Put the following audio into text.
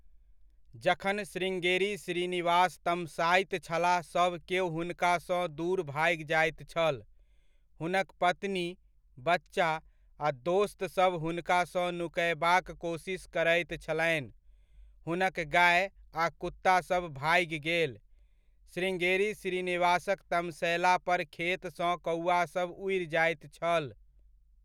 जखन श्रृंगेरी श्रीनिवास तमसाइत छलाह सभ केओ हुनकासँ दूर भागि जाइत छल। हुनक पत्नी, बच्चा आ दोस्तसभ हुनकासँ नुकयबाक कोसिस करैत छलनि। हुनक गाए आ कुत्ता सभ भागि गेल। श्रृंगेरी श्रीनिवासक तमसयला पर खेतसँ कौआसभ उड़ि जायत छल।